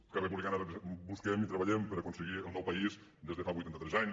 esquerra republicana busquem i treballem per aconseguir el nou país des de fa vuitanta tres anys